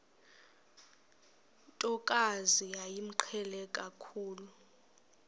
ntokazi yayimqhele kakhulu